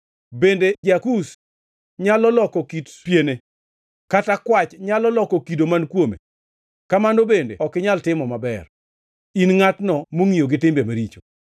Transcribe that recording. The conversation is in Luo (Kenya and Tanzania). Bende ja-Kush nyalo loko kit piene kata kwach nyalo loko kido man kuome? Kamano bende ok inyal timo maber, in ngʼatno mongʼiyo gi timbe maricho.